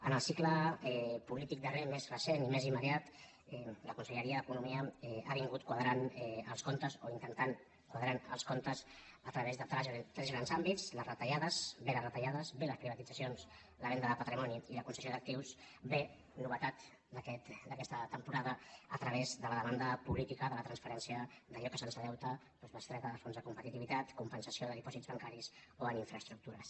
en el cicle polític darrer més recent i més immediat la conselleria d’economia ha anat qua·drant els comptes o intentant quadrar els comptes a través de tres grans àmbits bé les retallades bé les privatitzacions la venda de patrimoni i la concessió d’actius bé novetat d’aquesta temporada a través de la demanda política de la transferència d’allò que se’ns deu bestreta del fons de competitivitat compensació de dipòsits bancaris o en infraestructures